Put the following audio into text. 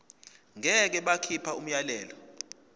ngeke bakhipha umyalelo